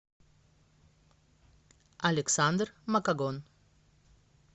александр макагон